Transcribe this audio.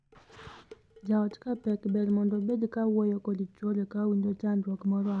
Jaot ka pek, ber mondo obed kowuoyo kod chwore ka owinjo chandruok moro amora ma owinjo.